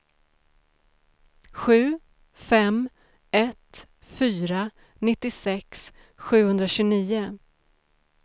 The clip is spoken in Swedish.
sju fem ett fyra nittiosex sjuhundratjugonio